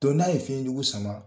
n'a ye fiɲɛjugu sama